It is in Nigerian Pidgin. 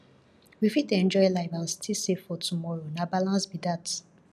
we fit enjoy life and still save for tomorrow na balance be that